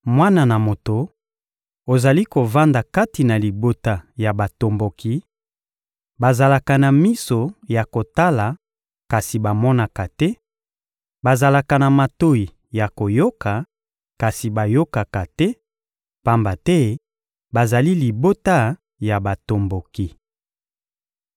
«Mwana na moto, ozali kovanda kati na libota ya batomboki; bazalaka na miso ya kotala kasi bamonaka te, bazalaka na matoyi ya koyoka kasi bayokaka te, pamba te bazali libota ya batomboki.